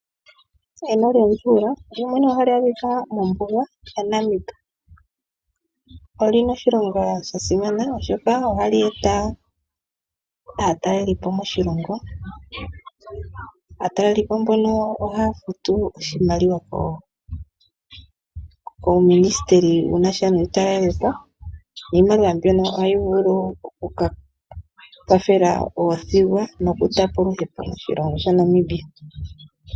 Eno lyomutyuula ohali adhika mombuga yaNamib. Olina oshilonga sha simana oshoka ohali eta aatalelipo moshilongo. Aatalelipo mbono ohaya futu oshimaliwa kuuministeli wunasha nomatalelepo niimaliwa mbyono ohayi vulu oku kwathela oothigwa noku kandulapo oluhepo moshilongo sha Namibia.